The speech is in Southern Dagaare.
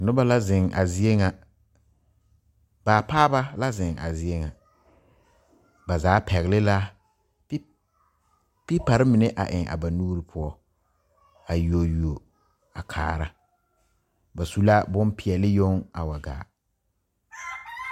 Noba la zeŋ a zie ŋa baapaaba la zeŋ a zie ŋa ba zaa pɛgle la pe pepari mine a eŋ a ba nuuri poɔ a yuo yuo a kaara ba su la bompeɛle yoŋ a wa gaa.